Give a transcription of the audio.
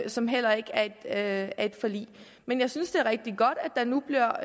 som heller ikke er et forlig men jeg synes det er rigtig godt at der nu bliver